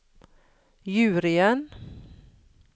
juryen